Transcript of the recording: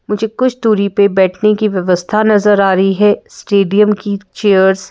मुझे कुछ दूरी पर बैठने की व्यवस्था नजर आ रही है स्टेडियम की चेयर्स --